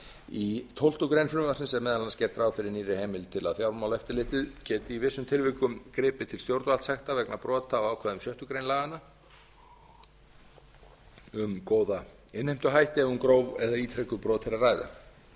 í tólftu greinar frumvarpsins er meðal annars gert ráð fyrir nýrri heimild til að fjármálaeftirlitið geti í vissum tilvikum gripið til stjórnvaldssekta vegna brota á ákvæðum sjöttu grein laganna um góða innheimtuhætti ef um gróf eða ítrekuð brot er að